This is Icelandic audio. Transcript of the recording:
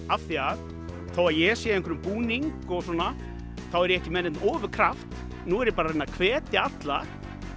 af því að þótt ég sé í einhverjum búningi og svona þá er ég ekki með neinn ofurkraft nú er ég bara að reyna að hvetja alla